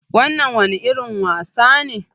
Wannan wani irin wasa ne?